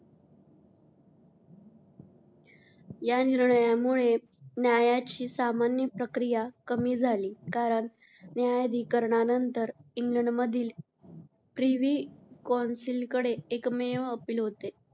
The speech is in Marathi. या निर्णयामुळे न्यायाची सामान्य प्रक्रिया कमी झाली कारण न्यायाधिकरणानंतर इंग्लंडमधील प्रिव्ही कौन्सिल कडे एकमेव अपील होते.